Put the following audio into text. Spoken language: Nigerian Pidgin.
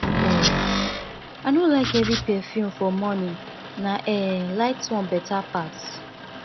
um i no like heavy perfume for morning na um light one beta pass